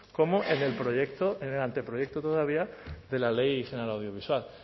como en el anteproyecto todavía de la ley general audiovisual